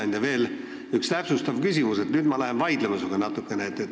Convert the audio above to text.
Mul on veel üks täpsustav küsimus ja ma lähen nüüd sinuga natukene vaidlema.